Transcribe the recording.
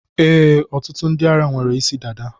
E, ọtụtụ ndị ara nwere isi dada.